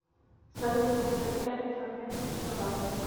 салют повтори этот фрагмент еще раз